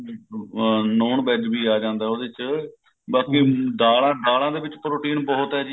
ਅਹ non veg ਵੀ ਆ ਜਾਂਦਾ ਉਹਦੇ ਚ ਬਾਕੀ ਦਾਲਾਂ ਦਾਲਾਂ ਦੇ ਵਿੱਚ protein ਬਹੁਤ ਹੈ ਜੀ